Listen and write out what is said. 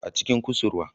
A cikin kusurwa